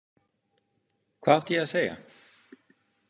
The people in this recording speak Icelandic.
Hvað átti ég að segja?